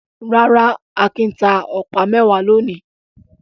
Rárá, Akin ta ọ̀pá mẹ́wàá lónìí.